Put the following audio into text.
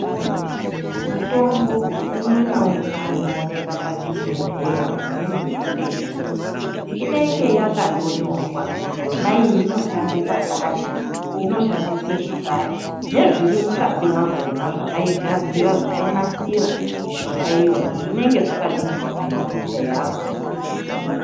Mutombo umwe naumwe unooneka pachibhedhlera, neimweni inotengeswa inenge yakatonyorwa kuti yona iyi inoshanda pakati inoshandiswa zvakati nezviri mukati makona, zvaigadzira mishonga iyona zvinenge zvakanyorwa pamabhodhleya akona.